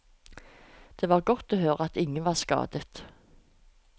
Det var godt å høre at ingen var skadet.